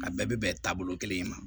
A bɛɛ bɛ bɛn taabolo kelen in ma